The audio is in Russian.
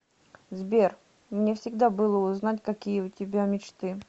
сбер мне всегда было узнать какие у тебя мечты